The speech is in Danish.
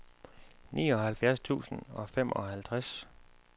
nioghalvfjerds tusind og femoghalvtreds